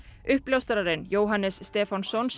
uppljóstrarinn Jóhannes Stefánsson